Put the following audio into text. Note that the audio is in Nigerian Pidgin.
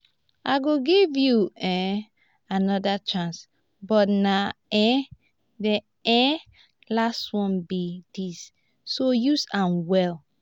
i go give you um another chance but na um the um last one be dis so use am well